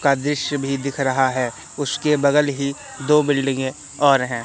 का दृश्य भी दिख रहा है उसके बगल ही दो बिल्डिंगें और है।